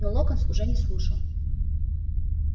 но локонс уже не слушал